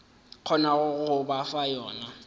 kgonago go ba fa yona